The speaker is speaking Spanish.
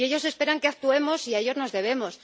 Ellos esperan que actuemos y a ellos nos debemos.